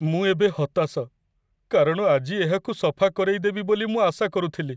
ମୁଁ ଏବେ ହତାଶ, କାରଣ ଆଜି ଏହାକୁ ସଫା କରେଇଦେବି ବୋଲି ମୁଁ ଆଶା କରୁଥିଲି।